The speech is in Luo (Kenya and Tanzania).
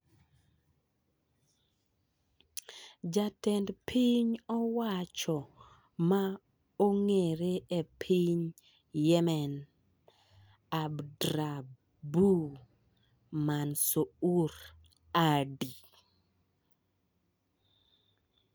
Jatend piny owach ma ong'ere e piny Yemen, Abdrabbu Mansour Hadi,